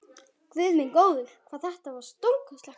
Guð minn góður, hvað það var stórkostlegt!